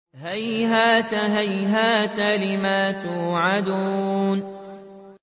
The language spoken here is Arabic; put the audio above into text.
۞ هَيْهَاتَ هَيْهَاتَ لِمَا تُوعَدُونَ